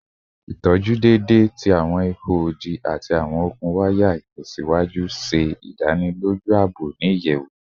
Itọju deede ti awọn iho odi ati awọn okun waya itẹsiwaju ṣe idaniloju aabo ni iyẹwu